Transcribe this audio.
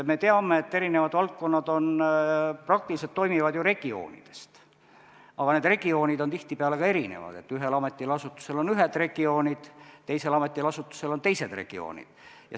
Me teame, et eri valdkonnad praktiliselt toimivad ju regioonides, aga need regioonid on tihtipeale erinevad, st ühel ametil või asutusel on ühed regioonid, teisel ametil või asutusel on teised regioonid.